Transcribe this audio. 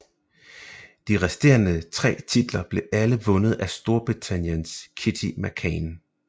De resterende tre titler blev alle vundet af Storbritanniens Kitty McKane